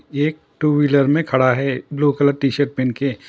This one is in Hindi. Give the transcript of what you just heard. ये एक टू वीलर में खड़ा है ब्लू कलर टीशर्ट पहन के।